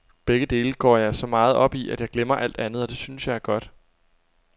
Begge dele går jeg så meget op i, at jeg glemmer alt andet, og det synes jeg er godt.